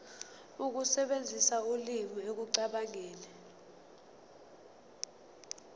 ukusebenzisa ulimi ekucabangeni